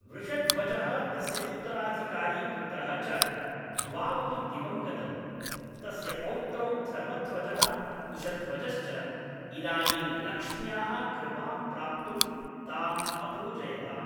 वृषध्वजः तस्य उत्तराधिकारी पुत्रः च द्वावपि दिवं गतौ, तस्य पौत्रौ धर्मध्वजः कुशध्वजश्च इदानीं लक्ष्म्याः कृपां प्राप्तुं तामपूजयताम्।